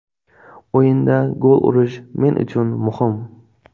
O‘yinda gol urish men uchun muhim.